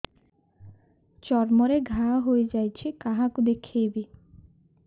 ଚର୍ମ ରେ ଘା ହୋଇଯାଇଛି କାହାକୁ ଦେଖେଇବି